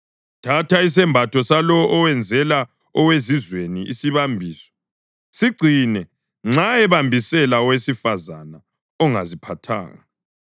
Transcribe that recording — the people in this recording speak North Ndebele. Thatha isembatho salowo owenzela owezizweni isibambiso; sigcine nxa ebambisela owesifazane ongaziphathanga.